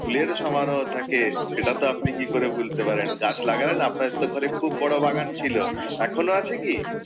ফুলের সমারোহ থাকে, সেটা তো আপনি কি করে ভুলতে পারেন। গাছ লাগান, আপনার তো ঘরে খুব বড় বাগান ছিলও, এখনো আছে কি?